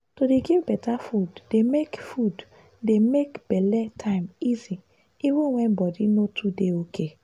to dey give better food dey make food dey make belle time easy even when body no too dey okay.